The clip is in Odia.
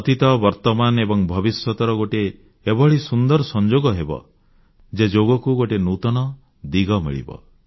ଅତୀତ ବର୍ତ୍ତମାନ ଏବଂ ଭବିଷ୍ୟତର ଗୋଟିଏ ଏଭଳି ସୁନ୍ଦର ସଂଯୋଗ ହେବ ଯେ ଯୋଗକୁ ଗୋଟିଏ ନୂତନ ଦିଗ ମିଳିବ